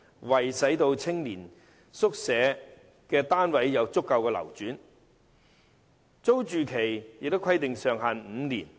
為使青年宿舍單位有足夠流轉，當局把租住期上限訂為5年。